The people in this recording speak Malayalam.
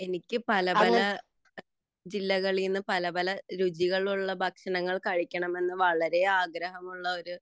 എനിക്ക് പല പല ജില്ലകളിൽ നിന്ന് പല പല രുചിയുള്ള ഭക്ഷണം കഴിക്കണമെന്നു വളരെ ആഗ്രഹമുള്ള